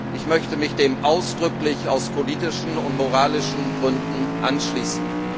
Ich möchte mich dem ausdrücklich aus politischen und moralischen Gründen anschließen.